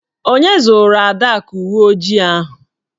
Onye zụụrụ Adaku uwe ojii ahụ?